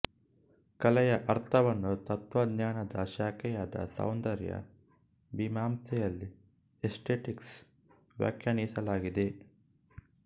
ಕಲೆಯ ಅರ್ಥವನ್ನು ತತ್ವಜ್ಞಾನದ ಶಾಖೆಯಾದ ಸೌಂದರ್ಯ ಮೀಮಾಂಸೆಯಲ್ಲಿ ಎಸ್ತೆಟಿಕ್ಸ್ ವ್ಯಾಖ್ಯಾನಿಸಲಾಗಿದೆ